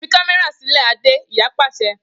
Fi kamẹra silẹAde iya paṣẹ.